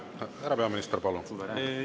Härra peaminister, palun!